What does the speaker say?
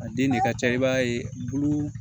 A den de ka ca i b'a ye bulu